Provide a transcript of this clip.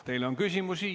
Teile on küsimusi.